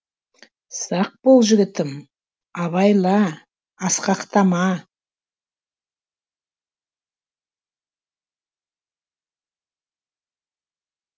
сақ бол жігітім абайла асқақтама